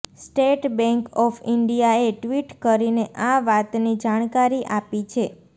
state bank of ઇન્ડિયાએ tweet કરીને આ વાતની જાણકારી આપી છે